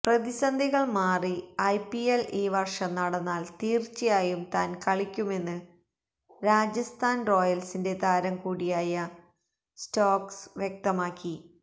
പ്രതിസന്ധികള് മാറി ഐപിഎല് ഈ വര്ഷം നടന്നാല് തീര്ച്ചയായും താന് കളിക്കുമെന്ന് രാജസ്ഥാന് റോയല്സിന്റെ താരം കൂടിയായ സ്റ്റോക്സ് വ്യക്തമാക്കി